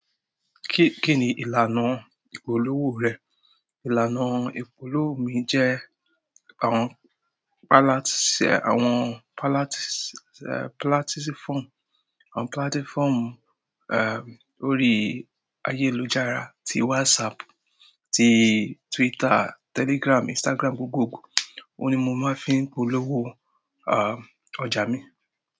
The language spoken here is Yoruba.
Kí-kí ni ìlànà ìpolówó rẹ? Ìlànà ìpolówó mi jẹ́ àwọn palat- sé àwọn palat- eh platform, àwọn platform, eh, orí ayélujára tí WhatsApp, tí Twitter, Telegram, Instagram gbgogbò. Ó ni mo máa ń fi ń polówó, ah, ọ̀ja mi.